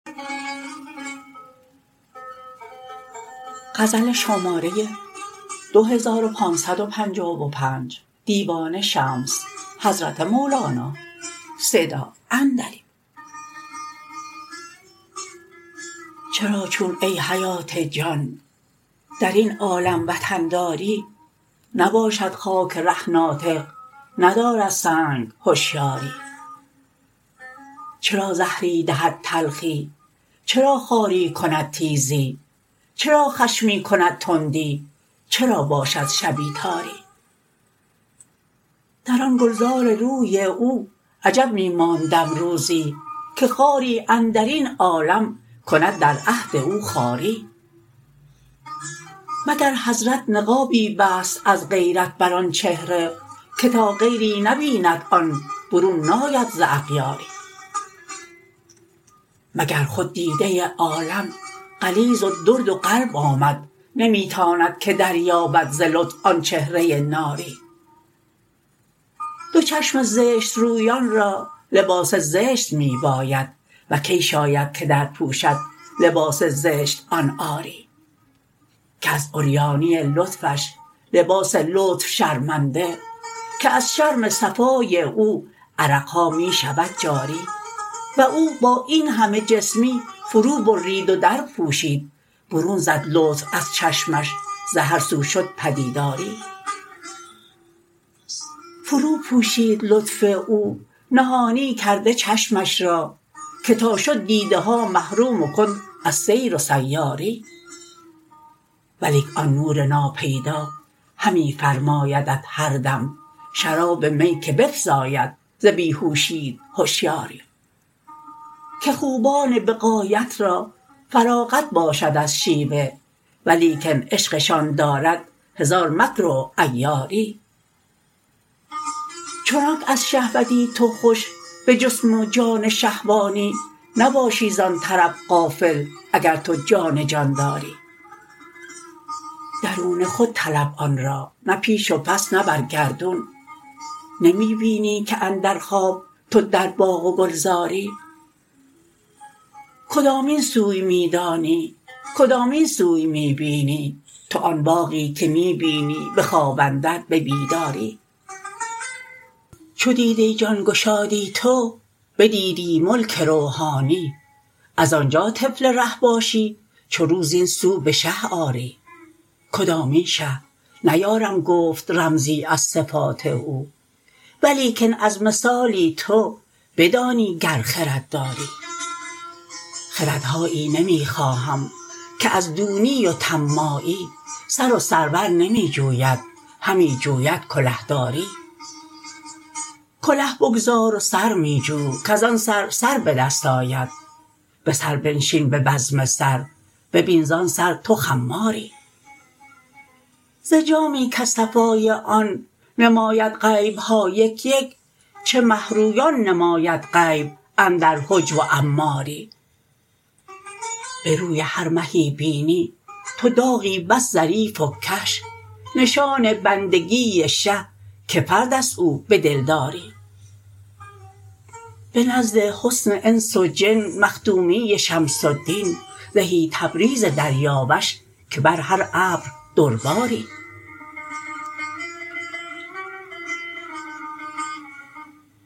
چرا چون ای حیات جان در این عالم وطن داری نباشد خاک ره ناطق ندارد سنگ هشیاری چرا زهری دهد تلخی چرا خاری کند تیزی چرا خشمی کند تندی چرا باشد شبی تاری در آن گلزار روی او عجب می ماندم روزی که خاری اندر این عالم کند در عهد او خاری مگر حضرت نقابی بست از غیرت بر آن چهره که تا غیری نبیند آن برون ناید ز اغیاری مگر خود دیده عالم غلیظ و درد و قلب آمد نمی تاند که دریابد ز لطف آن چهره ناری دو چشم زشت رویان را لباس زشت می باید و کی شاید که درپوشد لباس زشت آن عاری که از عریانی لطفش لباس لطف شرمنده که از شرم صفای او عرق ها می شود جاری و او با این همه جسمی فروبرید و درپوشید برون زد لطف از چشمش ز هر سو شد به دیداری فروپوشید لطف او نهانی کرده چشمش را که تا شد دیده ها محروم و کند از سیر و سیاری ولیک آن نور ناپیدا همی فرمایدت هر دم شراب می که بفزاید ز بی هوشیت هشیاری که خوبان به غایت را فراغت باشد از شیوه ولیکن عشقشان دارد هزاران مکر و عیاری چنانک از شهوتی تو خوش به جسم و جان شهوانی نباشی زان طرب غافل اگر تو جان جان داری درون خود طلب آن را نه پیش و پس نه بر گردون نمی بینی که اندر خواب تو در باغ و گلزاری کدامین سوی می دانی کدامین سوی می بینی تو آن باغی که می بینی به خواب اندر به بیداری چو دیده جان گشادی تو بدیدی ملک روحانی از آن جا طفل ره باشی چو رو زین سو به شه آری کدامین شه نیارم گفت رمزی از صفات او ولیکن از مثالی تو بدانی گر خرد داری خردهایی نمی خواهم که از دونی و طماعی سر و سرور نمی جوید همی جوید کلهداری کله بگذار و سر می جو کز آن سر سر به دست آید به سر بنشین به بزم سر ببین زان سر تو خماری ز جامی کز صفای آن نماید غیب ها یک یک چه مه رویان نماید غیب اندر حجب و عماری به روی هر مهی بینی تو داغی بس ظریف و کش نشان بندگی شه که فرد است او به دلداری به نزد حسن انس و جن مخدومی شمس الدین زهی تبریز دریاوش که بر هر ابر در باری